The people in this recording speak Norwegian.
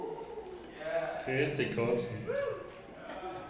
Grete Karlsen